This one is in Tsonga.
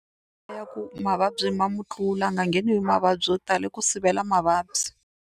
Mhaka ya ku mavabyi ma mu tlula a nga ngheniwi hi mavabyi yo tala i ku sivela mavabyi.